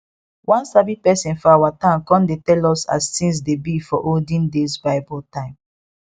one sabi person for our town con dey tell us as things dey be for olden days bible time